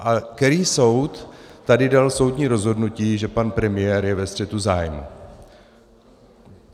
A který soud tady dal soudní rozhodnutí, že pan premiér je ve střetu zájmů?